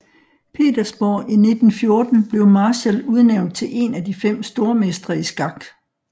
Petersborg i 1914 blev Marshall udnævnt til en af de 5 stormestre i skak